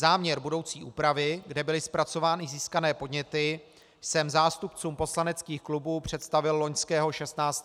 Záměr budoucí úpravy, kde byly zpracované získané podněty, jsem zástupcům poslaneckých klubů představil loňského 16. prosince.